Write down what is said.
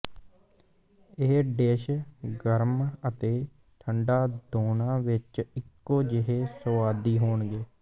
ਇਹ ਡਿਸ਼ ਗਰਮ ਅਤੇ ਠੰਢਾ ਦੋਨਾਂ ਵਿੱਚ ਇੱਕੋ ਜਿਹੇ ਸੁਆਦੀ ਹੋਣਗੇ